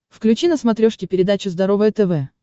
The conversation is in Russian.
включи на смотрешке передачу здоровое тв